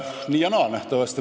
Nii ja naa.